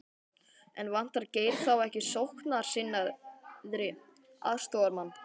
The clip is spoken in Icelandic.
En vantar Geir þá ekki sóknarsinnaðri aðstoðarmann?